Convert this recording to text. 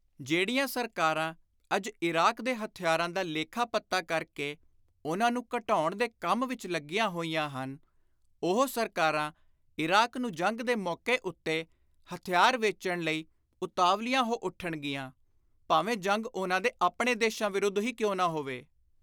ਜਿਹੜੀਆਂ ਸਰਕਾਰਾਂ ਅੱਜ ਇਰਾਕ ਦੇ ਹਥਿਆਰਾਂ ਦਾ ਲੇਖਾ ਪੱਤਾ ਕਰ ਕੇ ਉਨ੍ਹਾਂ ਨੂੰ ਘਟਾਉਣ ਦੇ ਕੰਮ ਵਿਚ ਲੱਗੀਆਂ ਹੋਈਆਂ ਹਨ, ਉਹੋ ਸਰਕਾਰਾਂ ਇਰਾਕ ਨੂੰ ਜੰਗ ਦੇ ਮੌਕੇ ਉੱਤੇ ਹਥਿਆਰ ਵੇਚਣ ਲਈ ਉਤਾਵਲੀਆਂ ਹੋ ਉੱਠਣਗੀਆਂ, ਭਾਵੇਂ ਜੰਗ ਉਨ੍ਹਾਂ ਦੇ ਆਪਣੇ ਦੇਸ਼ਾਂ ਵਿਰੁੱਧ ਹੀ ਕਿਉਂ ਨਾ ਹੋਵੇ।